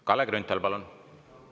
Kalle Grünthal, palun!